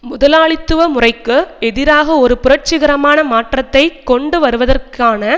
முதலாளித்துவ முறைக்கு எதிராக ஒரு புரட்சிகரமான மாற்றத்தை கொண்டுவருவதற்கான